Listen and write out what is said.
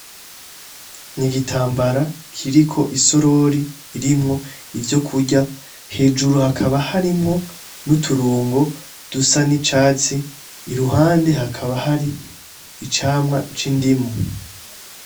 Ni igitambara kiriko isorori irimwo ivyo kurya hejuru hakaba harimwo n'uturungo dusa n'icatsi iruhande hakaba hari icamwa c'indimo.